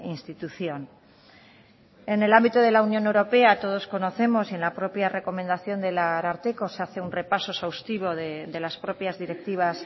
institución en el ámbito de la unión europea todos conocemos y en la propia recomendación del ararteko se hace un repaso exhaustivo de las propias directivas